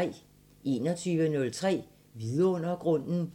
21:03: Vidundergrunden